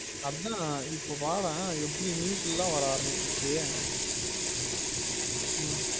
அதான் இப்ப பாரேன் எப்டி news ல எல்லாம் வர ஆரம்பிச்சிருச்சு ஹம்